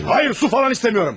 Hayır, hayır, su falan istəmirəm!